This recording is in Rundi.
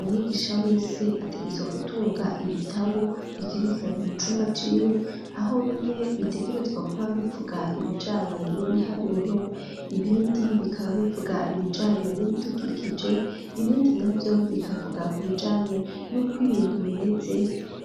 Umwigisha wese ategerezwa gutunga ibitabu bikerekeranye mu cumba ciwe. Aho bimwe bitegerezwa kuba bivuga ibijanye n'ibiharuro ibindi bikaba bivuga ibijanye n'ibitukikije ibindi navyo bikavuga ku bijanye n'uko ibintu bimeze